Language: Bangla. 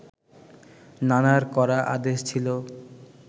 নানার কড়া আদেশ ছিল